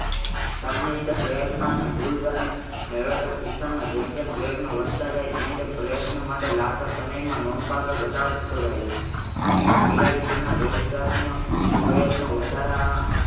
તમને પ્રયત્નો અને ભૂલ દ્વારા મેળવતા શિક્ષણ માં જેમ જેમ પ્રયત્નો વધતા જાય છે તેમ પ્રયત્નો માટે લગતા સમયમાં નોંધ પાત્ર ઘટાડો થતો જાય છે અહીં પણ બિલાડી